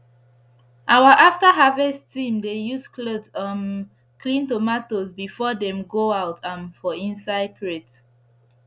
our after harvest team dey use cloth um clean tomatoes before dem go out am for inside crate